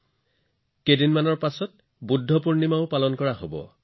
কিছুদিনৰ পিছত বৈশাখ বুধ পূৰ্ণিমা উৎসৱো পালন কৰা হব